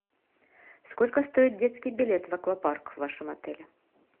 сколько стоит детский билет в аквапарк в вашем отеле